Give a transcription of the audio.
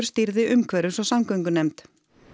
stýrði umhverfis og samgöngunefnd